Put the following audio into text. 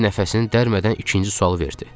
Stiv nəfəsini dərmədən ikinci sualı verdi.